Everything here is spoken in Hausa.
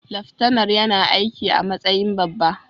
Laftanar yana aiki a matsayin babba.